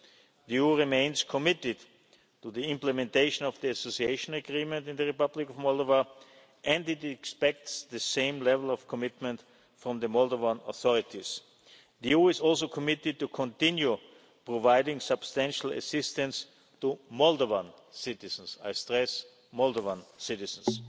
concerns. The EU remains committed to the implementation of the Association Agreement with the Republic of Moldova, and it expects the same level of commitment from the Moldovan authorities. The EU is also committed to continuing to provide substantial assistance to Moldovan citizens I stress Moldovan